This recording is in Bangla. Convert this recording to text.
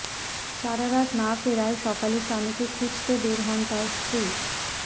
সারা রাত না ফেরায় সকালে স্বামীকে খুঁজতে বের হন তার স্ত্রী